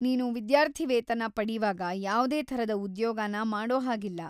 ನೀನು ವಿದ್ಯಾರ್ಥಿವೇತನ ಪಡೀವಾಗ ಯಾವ್ದೇ ಥರದ ಉದ್ಯೋಗನ ಮಾಡೋ ಹಾಗಿಲ್ಲ.